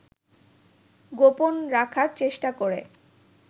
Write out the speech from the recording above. গোপন রাখার চেষ্টা করে